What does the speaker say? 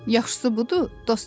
Yaxşısı budur, dost olaq.